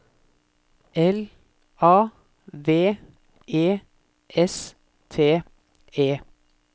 L A V E S T E